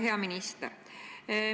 Hea minister!